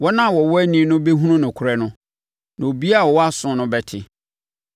Wɔn a wɔwɔ ani no bɛhunu nokorɛ no, na obiara a ɔwɔ aso no bɛte.